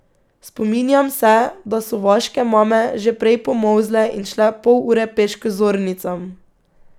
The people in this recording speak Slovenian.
Spominjam se, da so vaške mame že prej pomolzle in šle pol ure peš k zornicam.